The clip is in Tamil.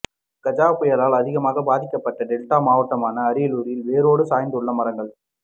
கஜா புயலால் அதிகமாக பாதிக்கப்பட்ட டெல்டா மாவட்டமான அரியலூரில் வேரோடு சாய்ந்துள்ள மரங்கள்